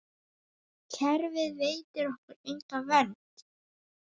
Kerfið veitir okkur enga vernd.